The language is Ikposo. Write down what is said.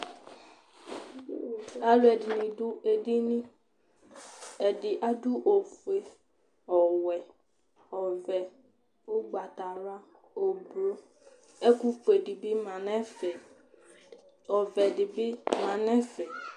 Alʋɛdɩnɩ dʋ edini Ɛdɩ adʋ ofue, ɔwɛ, ɔvɛ ʋgbatawla, oblo; ɛkʋfue dɩ bɩ ma nʋ ɛfɛ Ɔvɛ dɩ bɩ ma nʋ ɛfɛ